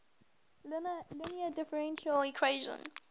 linear differential equation